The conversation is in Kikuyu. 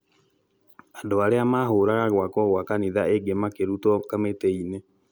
andũ arĩa mahũraga gwakwo gwa kanitha ĩngĩ makĩrutwo kamĩtĩini